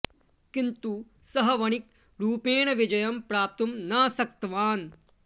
किन्तु सः वणिक् रूपेण विजयं प्राप्तुं न शक्तवान्